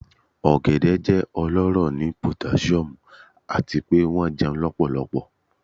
Ogede jẹ ọlọrọ ni potasiomu ati pe wọn jẹun lọpọlọpọ